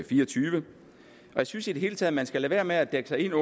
fireogtyvende og jeg synes i det hele taget man skal lade være med at dække sig ind